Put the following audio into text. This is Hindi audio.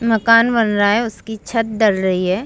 मकान बन रहा है उसकी छत डल रही है।